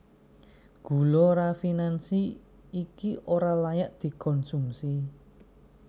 Gula rafinansi iki ora layak dikonsumsi